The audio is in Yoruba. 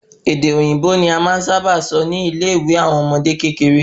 Èdè òyìnbó ni a máa n sáábà sọ ni ile ìwé àwọn ọmọdé kékeré